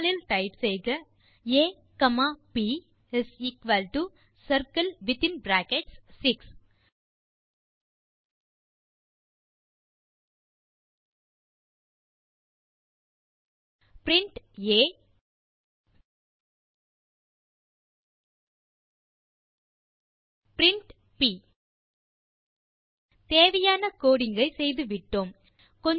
terminal இல் type செய்க ஆ காமா ப் சர்க்கிள் வித்தின் பிராக்கெட் 6 பிரின்ட் ஆ பிரின்ட் ப் தேவையான கோடிங் ஐ செய்துவிட்டோம்